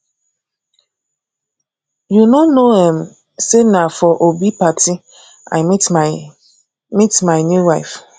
you no know um say na for obi party i meet my meet my new wife